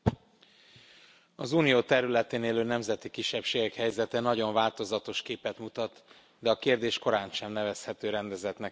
Az Unió területén élő nemzeti kisebbségek helyzete nagyon változatos képet mutat, de a kérdés korántsem nevezhető rendezettnek és megoldottnak.